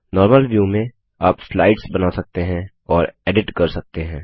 normal view में आप slides बना सकते हैं और एडिट कर सकते हैं